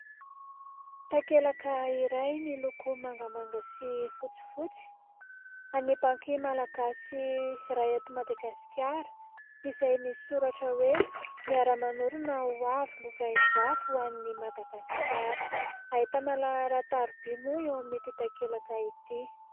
Takelaka iray miloko mangamanga sy fotsifotsy an'ny banky malagasy iray ato Madagasikara, izay misy soratra hoe : "miara-manorina ho avy lovain-jafy ho an'ny Madagasikara". Ahitana laharan-tariby moa eo amin'ity takelaka ity.